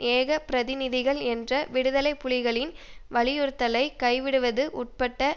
ஏக பிரதிநிதிகள் என்ற விடுதலை புலிகளின் வலியுறுத்தலை கைவிடுவது உட்பட்ட